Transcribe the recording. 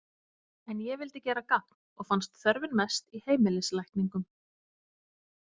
En ég vildi gera gagn og fannst þörfin mest í heimilislækningum.